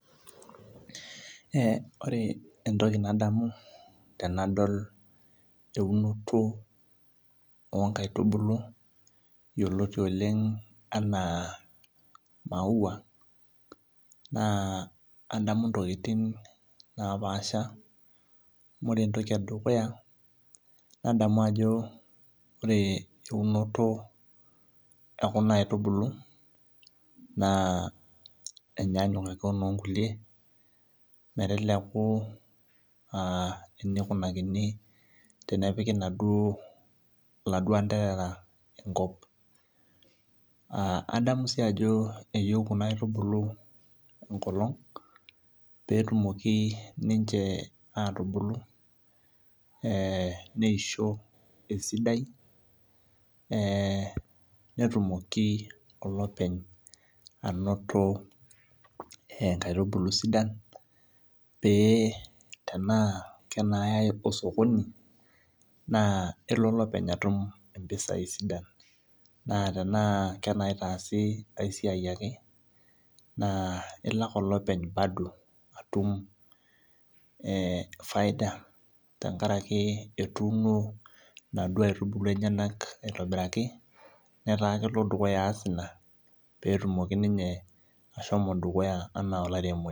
Ee ore entoki nadamu tanadol eunoto onkaitubulu yioloti oleng ana maua na nadamu ntokitin napaasha amu ore entoki edukuya nadamu ajo ore eunoto okuna aitubulu enyanyuk ake onkulie, metabaki aa enikunakini tenepiki kulo anderera enkop adamu si ajo nkaitubulu enkolong peyie etumoki ninche atubulu neisho esidai netumoki olopeny ainoto nkaitubulu sidan pe tana kanayai osokoni elo olopeny atum impisai sidan na tana kanaitaasi engae siai ake na elo na olopeny atum e faida tenkaraki etuuno naduo aitubulu enyenak aitobiraki nataa kelo aas ina petumoki ninye ashomo dukuya ana olaremoni.